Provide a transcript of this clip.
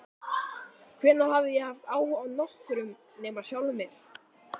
Hvenær hafði ég haft áhuga á nokkrum nema sjálfum mér?